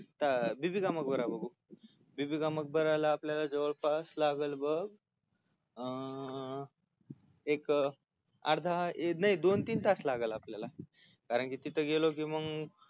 बीबी का मकबरा बघू बीबी का मकब-याला आपल्याला जवळपास लागल बघ अं एक अर्धा नाही दोन तीन तास लागल आपल्याला कारण की तिथ गेलो की मंग